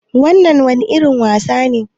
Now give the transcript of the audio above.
Wannan wani irin wasa ne?